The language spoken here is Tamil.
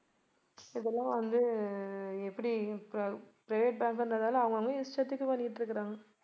இதெல்லாம் வந்து அஹ் எப்படி private bank ன்றதால அவங்கவங்க இஷ்டத்துக்கு பண்ணிட்டிருக்காங்க